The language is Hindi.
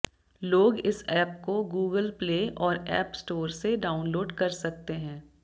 लोग इस ऐप को गूगल प्ले और ऐप स्टोर से डाउनलोड कर सकते हैं